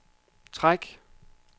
træk